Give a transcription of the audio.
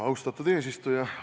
Austatud eesistuja!